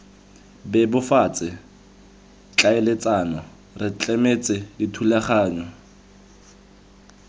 bebofatse tlhaeletsano re tlametse dithulaganyo